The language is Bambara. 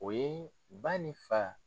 O ye ba ni fa.